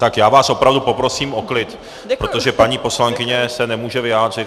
Tak já vás opravdu poprosím o klid, protože paní poslankyně se nemůže vyjádřit.